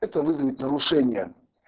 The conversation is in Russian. это вызовет нарушение